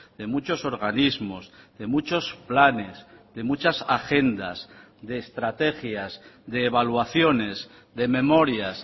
de muchos organismos de muchos planes de muchas agendas de estrategias de evaluaciones de memorias